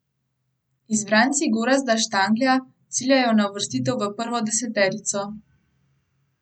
Izbranci Gorazda Štanglja ciljajo na uvrstitev v prvo deseterico.